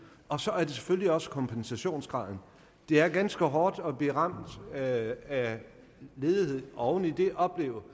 og så er det selvfølgelig også kompensationsgraden det er ganske hårdt at blive ramt af af ledighed og oven i det opleve